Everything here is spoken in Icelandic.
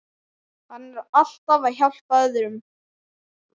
Hann er alltaf að hjálpa öðrum.